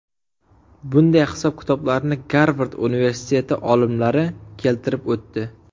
Bunday hisob-kitoblarni Garvard universiteti olimlari keltirib o‘tdi.